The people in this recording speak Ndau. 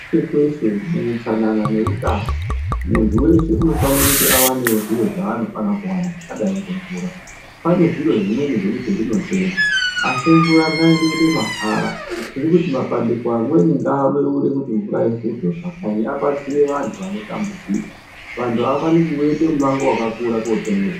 Kweshe kweshe muutsanana neutano muntu weshe unofane kuti awanewo zviro zvaanofane kuwana zvakadai ngemvura. Pane zviro zvimweni zvekuti zvinotengwa, asi mvura ngaindoite mahara. Tirikuti mapandiko amweni ngaabeure kuti mvura ivhurwe mumakanyi abatsire vantu vanotambudzika. Vantu avafaniri kuweite mumango wakakura kootenge mvura.